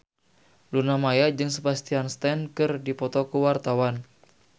Luna Maya jeung Sebastian Stan keur dipoto ku wartawan